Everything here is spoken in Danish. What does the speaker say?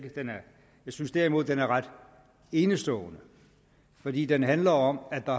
synes derimod at den er ret enestående fordi den jo handler om at der